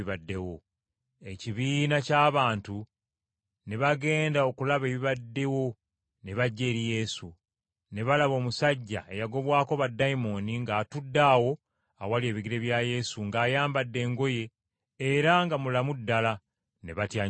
Ekibiina ky’abantu ne bagenda okulaba ebibaddewo ne bajja eri Yesu, ne balaba omusajja eyagobwako baddayimooni ng’atudde awo awali ebigere bya Yesu ng’ayambadde engoye era nga mulamu ddala! Ne batya nnyo.